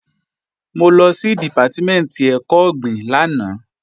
Mo lọ sí Dìpátímẹ̀ntì ẹ̀kọ́ ọ̀gbìn lánàá